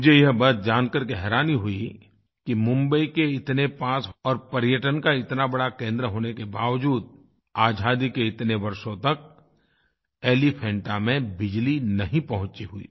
मुझे यह बात जानकर हैरानी हुई कि मुम्बई के पास होने और पर्यटन का इतना बड़ा केंद्र होने के बावजूद आज़ादी के इतने वर्षों तक एलीफेंटा में बिजली नहीं पहुँची हुई